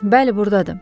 Bəli, burdadır.